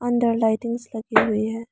अंदर लाइटिंग्स लगी हुई है।